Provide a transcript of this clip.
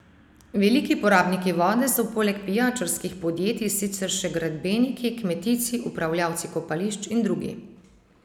Veliki porabniki vode so poleg pijačarskih podjetij sicer še gradbeniki, kmetijci, upravljavci kopališč in drugi.